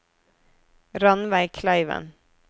Ranveig Kleiven